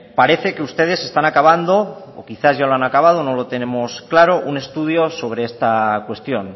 parece que ustedes están acabando o quizás ya lo han acabado no lo tenemos claro un estudio sobre esta cuestión